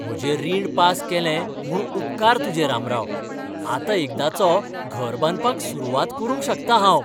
म्हजें रीण पास केलें म्हूण उपकार तुजे, रामराव. आतां एकदाचो घर बांदपाक सुरवात करूंक शकतां हांव.